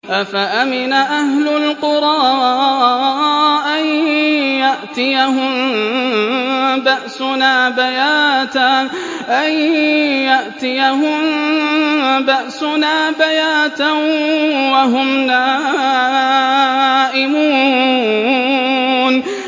أَفَأَمِنَ أَهْلُ الْقُرَىٰ أَن يَأْتِيَهُم بَأْسُنَا بَيَاتًا وَهُمْ نَائِمُونَ